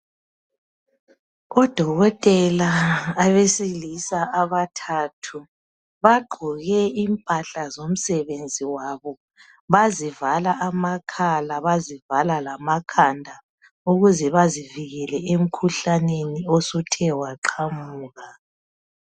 Odokotela abesilisa abathathu bagqoke impahla zomsebenzi yabo. Bazivala amakhala, bazivala lamakhanda ukuze bazivikele emkhuhlaneni osuthe waqamuka.